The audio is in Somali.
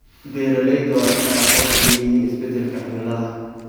Beeralayda waa in ay aqoon u leeyihiin isbeddelka cimilada.